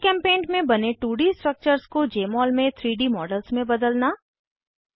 जीचेम्पेंट में बने 2डी स्ट्रक्चर्स को जमोल में 3डी मॉडल्स में बदलना